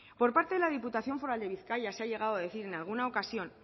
por parte de la diputación foral de bizkaia se ha llegado a decir en alguna ocasión